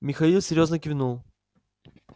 михаил серьёзно кивнул